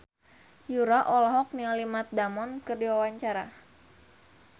Yura olohok ningali Matt Damon keur diwawancara